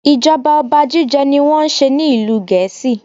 Ijọba ọba jíjẹ ní wọ́n n ṣe ní ìlú Gèésì.